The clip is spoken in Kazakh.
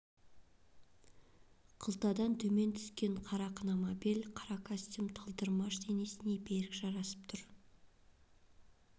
қылтадан төмен түскен қара қынама бел қара костюм талдырмаш денесіне бек жарасып тұр